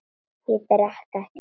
Ég drekk ekki, sagði hún.